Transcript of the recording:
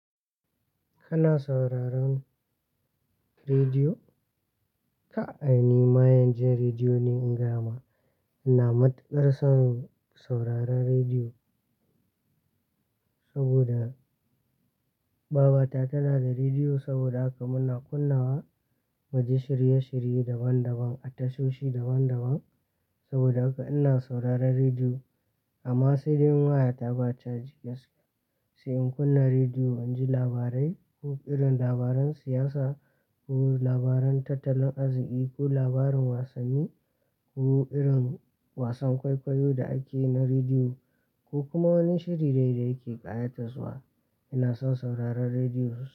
Kana sauraron rediyo? Ka, ai ni mayen jin rediyo ne, in gaya ma ina matuƙar son sauraron rediyo. Saboda baba ta tana da rediyo, saboda haka muna kunna wa mu ji shirye-shirye daban-daban, a tasoshi daban-daban. Saboda haka ina sauraron rediyo. Amma sai dai in waya ta ba caji gaskiya. Sai in kunna rediyo, inji labarai ko irin labaran siyasa ko labaran tattalin arziƙi ko labarin wasanni ko irin wasan kwaikwayo da ake na rediyo ko kuma wani shiri dai da yake ƙayataswa, ina son sauraron rediyo.